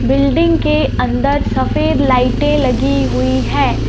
Building के अंदर सफेद लाइटें लगी हुई है।